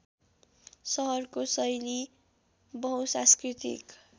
सहरको शैली बहुसांस्कृतिक